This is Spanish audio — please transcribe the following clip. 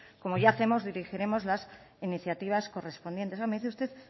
como ya hacemos normalmente dirigiremos las iniciativas correspondientes me dice usted